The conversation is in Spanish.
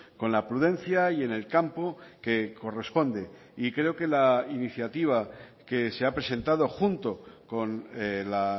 con la prudencia y en el campo que corresponde y creo que la iniciativa que se ha presentado junto con la